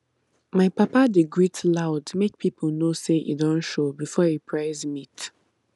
my papa dey greet loud make people know say e don show before e price meat